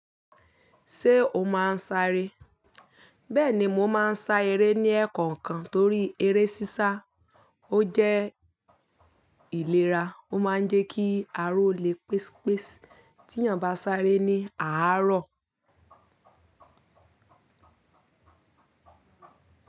Ṣé o máa ń sáré? Bẹ́ẹ̀ni mò máa ń sá eré ní ẹ̀kọ̀ǹkan torí eré sísá ó jẹ́ ìlera ó máa ń jẹ́ kí ara o le pès pes tí èèyàn bá sáré ní àárọ̀